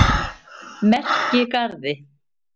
Merkigarði